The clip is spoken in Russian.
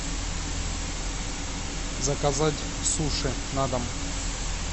заказать суши на дом